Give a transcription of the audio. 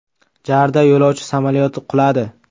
JARda yo‘lovchi samolyoti quladi.